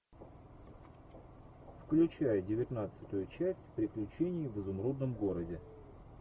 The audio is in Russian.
включай девятнадцатую часть приключений в изумрудном городе